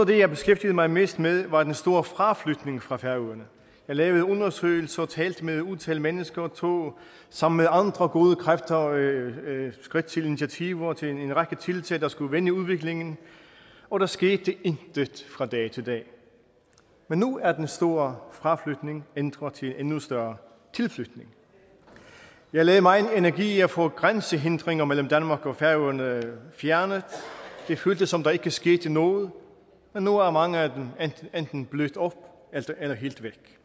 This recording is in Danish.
det jeg beskæftigede mig mest med var den store fraflytning fra færøerne jeg lavede undersøgelser og talte med et utal af mennesker og tog sammen med andre gode kræfter skridt til initiativer og til en række tiltag der skulle vende udviklingen og der skete intet fra dag til dag men nu er den store fraflytning ændret til en endnu større tilflytning jeg lagde megen energi i at få grænsehindringer mellem danmark og færøerne fjernet det føltes som om der ikke skete noget men nu er mange af dem enten blødt op eller helt væk